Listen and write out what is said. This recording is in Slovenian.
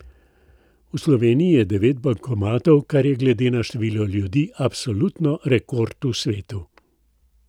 V Sloveniji je devet bankomatov, kar je glede na število ljudi absolutni rekord v svetu.